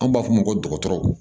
An b'a fɔ o ma ko dɔgɔtɔrɔw